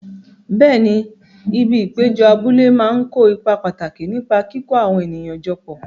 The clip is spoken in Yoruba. Bẹẹ̀ni, ibi ìpéjọ abúlé máa ń kó ipa pàtàkì nípa kíkó àwọn ènìyàn jọ papọ̀.